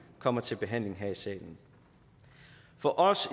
kommer til behandling her i salen for os